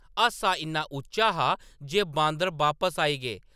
हासा इन्ना उच्चा हा जे बांदर बापस आई गे ।